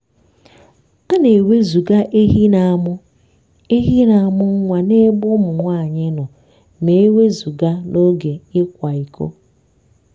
a na-ewezụga ehi na-amụ ehi na-amụ nwa n'ebe ụmụ nwanyị nọ ma e wezụga n'oge ịkwa iko.